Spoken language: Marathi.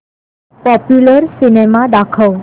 पॉप्युलर सिनेमा दाखव